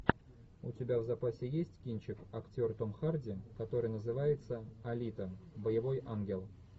у тебя в запасе есть кинчик актер том харди который называется алита боевой ангел